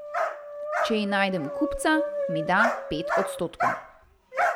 Če ji najdem kupca, mi da pet odstotkov.